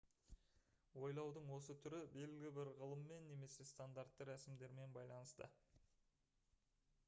ойлаудың осы түрі белгілі бір ғылыммен немесе стандартты рәсімдермен байланысты